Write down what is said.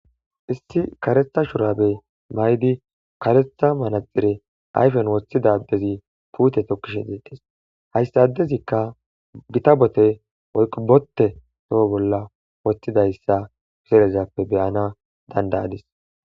Issi karetha shurabe maydi karetha manaxire ayfen woththidadezi puute tokkishe deedes hayssadezikka gita bote yqubotte toho bolla woththidayssa pizerezappe beyana dandaadis.